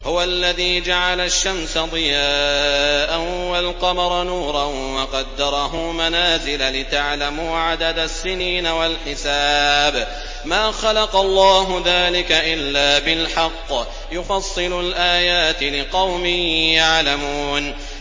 هُوَ الَّذِي جَعَلَ الشَّمْسَ ضِيَاءً وَالْقَمَرَ نُورًا وَقَدَّرَهُ مَنَازِلَ لِتَعْلَمُوا عَدَدَ السِّنِينَ وَالْحِسَابَ ۚ مَا خَلَقَ اللَّهُ ذَٰلِكَ إِلَّا بِالْحَقِّ ۚ يُفَصِّلُ الْآيَاتِ لِقَوْمٍ يَعْلَمُونَ